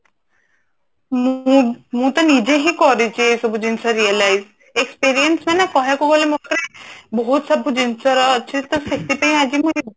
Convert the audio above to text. ମୁଁ ତ ନିଜେ ହିଁ କରିଛି ଏଇ ସବୁ ଜିନିଷ realise experience ମାନେ କହିବାକୁ ଗଲେ ମୋ ପାଖରେ ବହୁତ ସବୁ ଜିନିଷ ର ଅଛି ତ ସେଥିପାଇଁ ଆଜି ମୁଁ